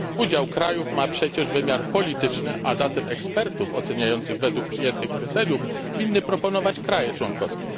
Udział krajów ma wymiar polityczny, a zatem ekspertów oceniających wg przyjętych kryteriów winny proponować państwa członkowskie.